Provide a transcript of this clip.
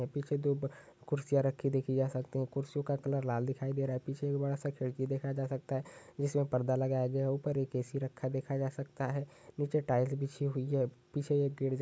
पीछे दो कुर्सियां रखी देखी जा सकती है कुर्सीयों का कलर लाल दिखायी दे रहा है और पीछे बड़ा सा खिड़की देखा जा सकता है जिसमे पर्दा लगाया गया है ऊपर एक एसी रखा देखा जा सकता है नीचे टाइल्स बिछी हुई हैं पीछे एक गेट --